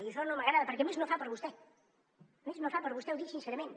i això no m’agrada perquè a més no fa per a vostè a més no fa per a vostè ho dic sincerament